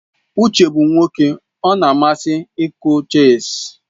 Uche bụ nwoke ọ na-amasị ịkụ chess.